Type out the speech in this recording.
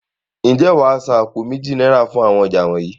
Ǹjẹ́ wàá san àpò méjì náírà fún àwọn ọjà yii?